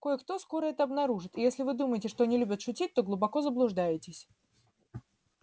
кое-кто скоро это обнаружит и если вы думаете что они любят шутить то глубоко заблуждаетесь